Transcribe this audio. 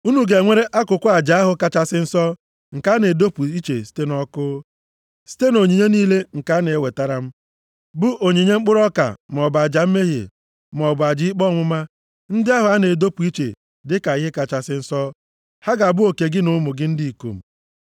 Unu ga-enwere akụkụ aja ahụ kachasị nsọ nke a na-edopụ iche site nʼọkụ. Site nʼonyinye niile nke a na-ewetara m, bụ onyinye mkpụrụ ọka maọbụ aja mmehie maọbụ aja ikpe ọmụma, ndị ahụ a na-edopụ iche dịka ihe kachasị nsọ, ha ga-abụ oke gị na ụmụ gị ndị ikom.